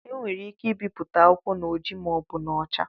E nwere ike ibipụta akwụkwọ n'ojii ma ọ bụ n'ọcha.